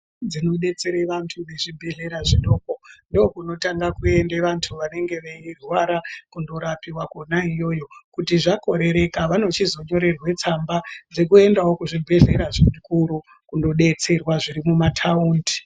Dzinodetsera vantu zvibhedlera zvidoko. Ndokunotanga kuende vantu vanenge veirwara kundorapiwa kona iyoyo. Kuti zvakorereka, vanochizonyorerwa tsamba dzekuendawo kuzvibhedhlera zvikuru kundodetserwa zviri kumataundi.